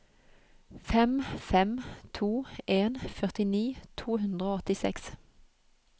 fem fem to en førtini to hundre og åttiseks